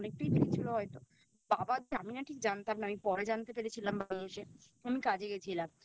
অনেকটাই বেরিয়েছিল হয়তো বাবা আমি না ঠিক জানতাম না পরে জানতে পেরেছিলাম বাড়ি এসে আমি কাজে গেছিলাম